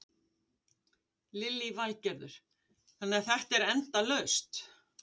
Lillý Valgerður: Þannig að þetta er endalaust?